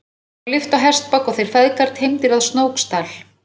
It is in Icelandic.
Honum var lyft á hestbak og þeir feðgar teymdir að Snóksdal.